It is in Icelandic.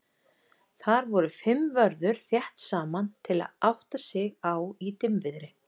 Þar voru fimm vörður þétt saman til að átta sig á í dimmviðri.